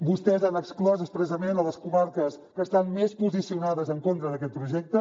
vostès han exclòs expressament les comarques que estan més posicionades en contra d’aquest projecte